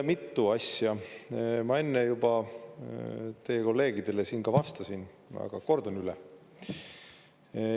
Mitu asja ma enne juba teie kolleegidele siin ka vastasin, aga kordan üle.